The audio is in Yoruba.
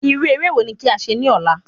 Irú eré wo ni kí a ṣe ní ọ̀la?